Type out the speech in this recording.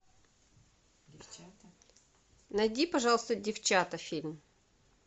найди пожалуйста девчата фильм